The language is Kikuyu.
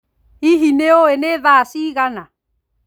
Hihi nĩ ũĩ nĩ tha cigana?